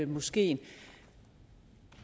moskeen